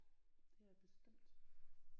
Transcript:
Det er bestemt